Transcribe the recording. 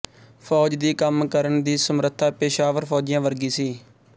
ਫੌਜ ਦੀ ਕੰਮ ਕਰਨ ਦੀ ਸਮਰੱਥਾ ਪੇਸ਼ਾਵਰ ਫੌਜੀਆਂ ਵਰਗੀ ਸੀ